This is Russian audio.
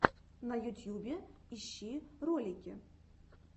на ютьюбе ищи ролики